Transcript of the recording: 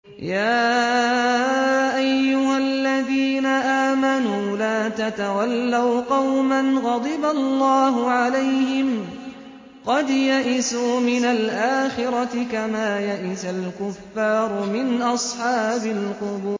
يَا أَيُّهَا الَّذِينَ آمَنُوا لَا تَتَوَلَّوْا قَوْمًا غَضِبَ اللَّهُ عَلَيْهِمْ قَدْ يَئِسُوا مِنَ الْآخِرَةِ كَمَا يَئِسَ الْكُفَّارُ مِنْ أَصْحَابِ الْقُبُورِ